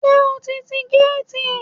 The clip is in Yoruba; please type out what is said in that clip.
Ṣé o ti ti géètì?